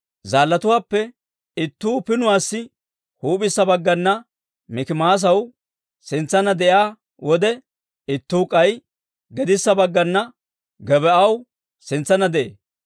Zaallatuwaappe ittuu pinniyaasaa huup'issa baggana Mikimaasaw sintsanna de'iyaa wode, ittuu k'ay gedissa baggana Gebaa'aw sintsanna de'ee.